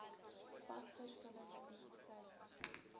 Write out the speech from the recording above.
pas verskillende entiteite